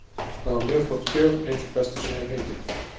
Það var mjög flott gjöf, ein sú besta sem ég hef fengið.